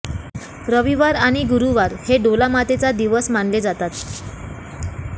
रविवार आणि गुरुवार हे डोला मातेचा दिवस मानले जातात